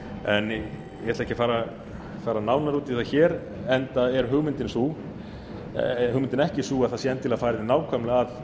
en ég ætla ekki að fara nánar út í það hér enda er hugmyndin ekki sú að það sé endilega farið nákvæmlega að